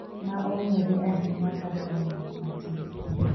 ma ong’ere ahinya kaka ‘ng’at matin’,